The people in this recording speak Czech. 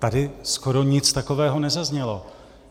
Tady skoro nic takového nezaznělo.